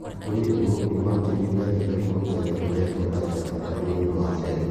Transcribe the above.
Ona kũrĩ ũguo, imantinib yatigire kũruta wĩra kũrĩ andũ a kanja ya thakame ni ũndũ wa cero